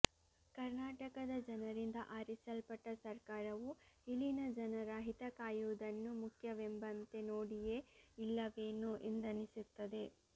ಕರ್ನಾಟಕದ ಜನರಿಂದ ಆರಿಸಲ್ಪಟ್ಟ ಸರ್ಕಾರವು ಇಲ್ಲಿನ ಜನರ ಹಿತ ಕಾಯುವುದನ್ನು ಮುಖ್ಯವೆಂಬಂತೆ ನೋಡಿಯೇ ಇಲ್ಲವೇನೋ ಎಂದನಿಸುತ್ತದೆ